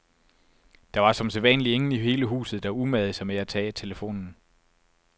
Der var som sædvanlig ingen i hele huset, der umagede sig med at tage telefonen.